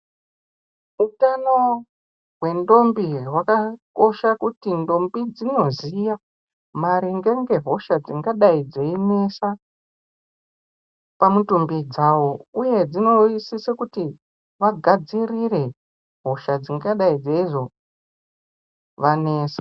Utano hwendombi hwakakosha kuti ndombi dzinoziya maringe nehosha dzakadai dzeinesa pamutumbi dzawo uye dzinosiso kuti vagadzirire hosha dzingadai dzeizovanesa.